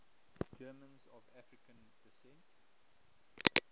germans of african descent